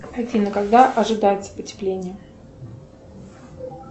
афина когда ожидается потепление